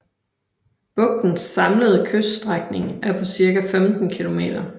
Bugtens samlede kyststrækning er på cirka 15 kilometer